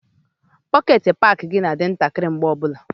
Pọket paki ga na-adị ntakịrị mgbe ọbụla.